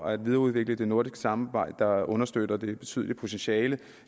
at videreudvikle det nordiske samarbejde der understøtter det betydelige potentiale